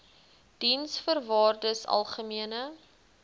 diensvoorwaardesalgemene